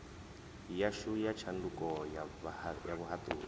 yashu ya tshanduko ya vhuhaṱuli